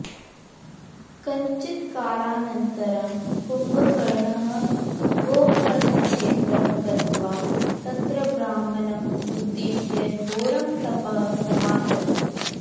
कञ्चित्कालाननन्तरं कुम्भकर्णः गोकर्णक्षेत्रं गत्वा तत्र ब्रह्माणम् उद्दिश्य घोरं तपः समाचरत्